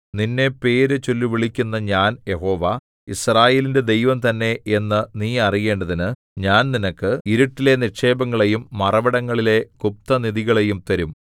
നിന്നെ പേര് ചൊല്ലിവിളിക്കുന്ന ഞാൻ യഹോവ യിസ്രായേലിന്റെ ദൈവം തന്നെ എന്നു നീ അറിയേണ്ടതിന് ഞാൻ നിനക്ക് ഇരുട്ടിലെ നിക്ഷേപങ്ങളെയും മറവിടങ്ങളിലെ ഗുപ്തനിധികളെയും തരും